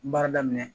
Baara daminɛ